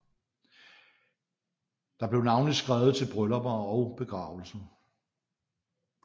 Der blev navnlig skrevet til bryllupper og begravelser